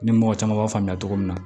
Ni mɔgɔ caman b'a faamuya cogo min na